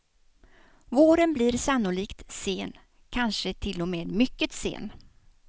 Våren blir sannolikt sen, kanske till och med mycket sen.